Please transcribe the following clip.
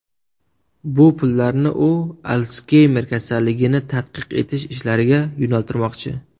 Bu pullarni u Alsgeymer kasalligini tadqiq etish ishlariga yo‘naltirmoqchi.